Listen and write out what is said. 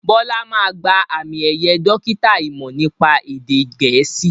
Bọlá máa gba àmì ẹ̀yẹ dókítà imọ̀ nípa èdè gẹ̀ẹ́sì